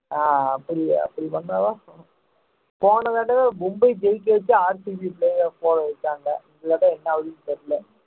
ஆஹ் அப்டி அப்டி பண்ணத்தான் போனதடவ மும்பை ஜெய்க்கவெச்சி இந்தத்தடவ என்ன அவுதுனு தெரியலே